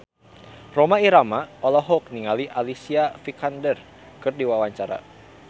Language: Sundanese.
Rhoma Irama olohok ningali Alicia Vikander keur diwawancara